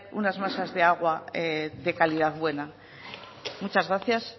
unas masas de aguas de calidad buena muchas gracias